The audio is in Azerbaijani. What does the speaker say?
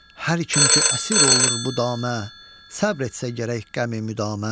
Hər kim ki əsir olur bu damə, səbr etsə gərək qəmi müdamə.